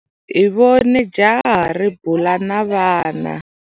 Hi vone jaha ri bula na vana.